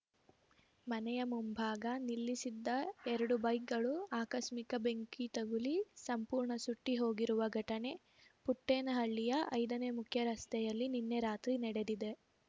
ಮನೆಯ ಮುಂಭಾಗ ನಿಲ್ಲಿಸಿದ್ದ ಎರಡು ಬೈಕ್ ಗಳು ಆಕಸ್ಮಿಕ ಬೆಂಕಿ ತಗುಲಿ ಸಂಪೂರ್ಣ ಸುಟ್ಟಿಹೋಗಿರುವ ಘಟನೆ ಪುಟ್ಟೇನಹಳ್ಳಿಯ ಐದನೇ ಮುಖ್ಯರಸ್ತೆಯಲ್ಲಿ ನಿನ್ನೆ ರಾತ್ರಿ ನಡೆದಿದೆ